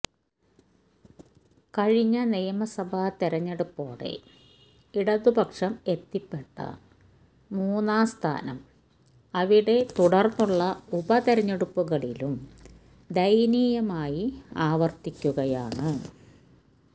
കഴിഞ്ഞ നിയമസഭാ തെരഞ്ഞെടുപ്പോടെ ഇടതുപക്ഷം എത്തിപ്പെട്ട മൂന്നാംസ്ഥാനം അവിടെ തുടര്ന്നുള്ള ഉപതെരഞ്ഞെടുപ്പുകളിലും ദയനീയമായി ആവര്ത്തിക്കുകയാണ്